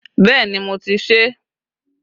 Bẹẹ ni, mo ti ṣe é